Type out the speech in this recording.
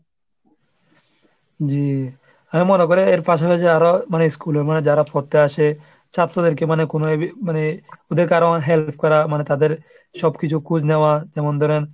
জি, হে মনে করে এর পাশাপাশি আরও মানে school এ মানে যারা পড়তে আসে ছাত্রদেরকে মানে কোন আহ মানে ওদের কারো help করা মানে তাদের সবকিছু খোঁজ নেওয়া যেমন ধরেন,